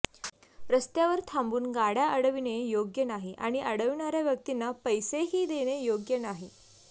रस्त्यावर थांबून गाडय़ा अडविणे योग्य नाही आणि अडविणाऱया व्यक्तींना पैसेही देणे योग्य नाही